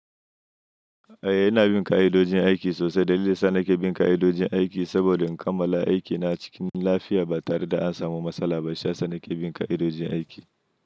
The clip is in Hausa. Eh, ina bin ka'idojin aiki sosai. Dalilin sa na ke bin ka'idojin aiki saboda in kammala aiki na cikin lafiya ba tare da an samu matsala ba. Shiya sanake bin ka'idojin aiki.